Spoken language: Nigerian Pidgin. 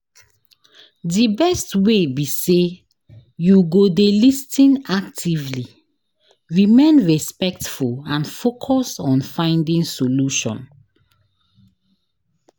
Di best way be say you go dey lis ten actively, remain respectful and focus on finding solution.